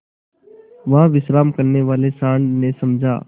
वहाँ विश्राम करने वाले सॉँड़ ने समझा